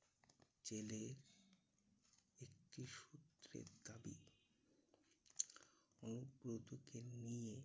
জেলের একটি সূত্রের দাবি, অনুব্রতকে নিয়ে